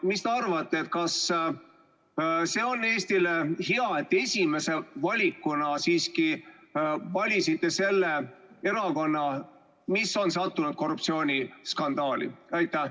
Mis te arvate, kas see on Eestile hea, et te esimesena valisite siiski selle erakonna, mis on sattunud korruptsiooniskandaali?